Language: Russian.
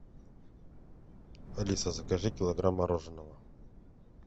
алиса закажи килограмм мороженого